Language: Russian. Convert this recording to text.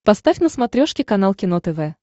поставь на смотрешке канал кино тв